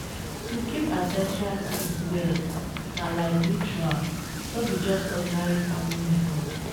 to keep ancestral seeds well na like ritual no be just ordinary farming method.